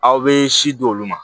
Aw bɛ si di olu ma